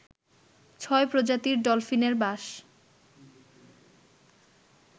ছয় প্রজাতির ডলফিনের বাস